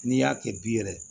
N'i y'a kɛ bi yɛrɛ